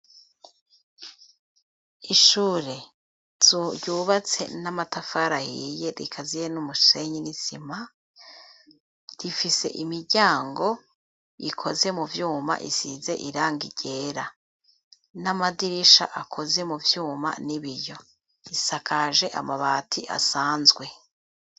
Ishure ryubatse n'amatafari ahiye rikaziye n'umusenyi n'isima rifise imiryango ikoze mu vyuma isize iranga igera n'amadirisha akoze mu vyuma n'ibiyo isakaje amabati asanzwe.